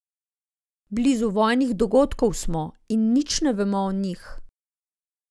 Blizu vojnih dogodkov smo in nič ne vemo o njih.